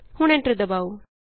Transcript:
ਹੁਣ ਐਂਟਰ ਦਬਾਉ